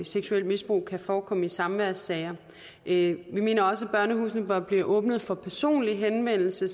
seksuelt misbrug forekommer i samværssager vi mener også at børnehusene bør blive åbnet for personlig henvendelse